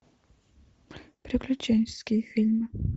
приключенческие фильмы